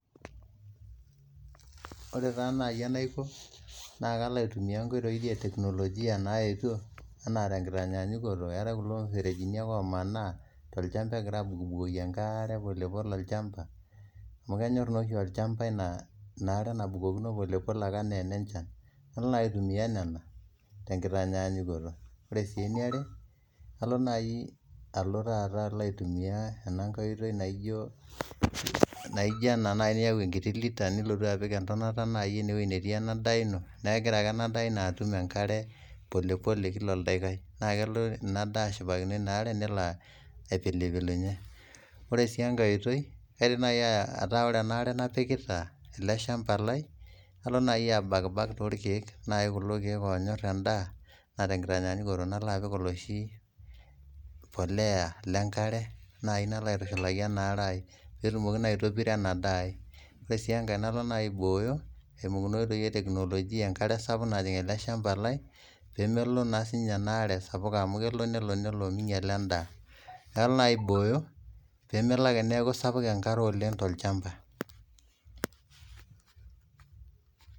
Oree taa naai enaiko, naa kalo eitumiyaa nkoitoi eteknologia naetio anaa te nkitanyanyikoto eatae kulo perejini ake omanaa te lchamba egira aabukbukoki enkaare polepole olchamba amu kenyorr taachi olchanba ina are nabukokino polepole ake enaa enenchan, kalo naa nanu aitumiyaa nenia enkitanyanyikoto, ore sii neaere alo naii alo taaata alo aitumiya ana inkae oitoi naijo ena niyau nkutii litani nilotu apik entonata naii eneweji netii enaa daa ino, naa egira ake ana daa ino atum enkare polepole kila oldakikai, naa kelo ina daa ashipakino enaare nelo aipilipilunye, ore sii enkae oitoi aidim nai ataa ore enaare napikita ale shamba lai alo naii abakbak too lkeek naai kulo keek oonyorrrr endaa naa te nkitanyanyikoto nalo apik oshii polea le nkare, nalo aitushulaki enaare aai netumoki aitobirra ena daaii, ore sii enkae alo naa aibooyo empukunoto oiteii eteknolojia enkare sapuk najing' ale shamba lai peemelo sii ninye anaare sapuk amu kelo nelo meinyala endaa, nalo naii aibooyo pemelo ake neaku esapuk enkare oleng to lchamba.